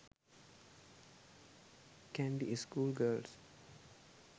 kandy school girls